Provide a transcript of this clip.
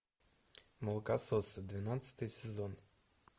молокососы двенадцатый сезон